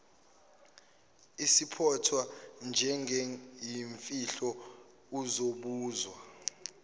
izophathwa njengeyimfihlo uzobuzwa